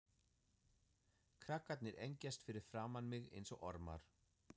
Krakkarnir engjast fyrir framan mig einsog ormar.